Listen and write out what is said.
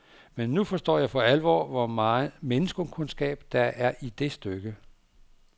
Men nu forstår jeg for alvor, hvor megen menneskekundskab der er i det stykke.